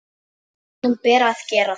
Honum ber að gera það.